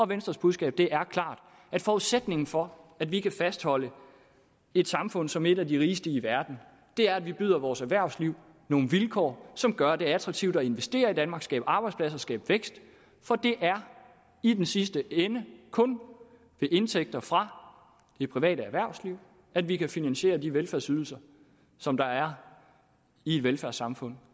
venstres budskab er klart forudsætningen for at vi kan fastholde et samfund som er et af de rigeste i verden er at vi byder vores erhvervsliv nogle vilkår som gør at det er attraktivt at investere i danmark at skabe arbejdspladser at skabe vækst for det er i den sidste ende kun ved indtægter fra det private erhvervsliv at vi kan finansiere de velfærdsydelser som der er i et velfærdssamfund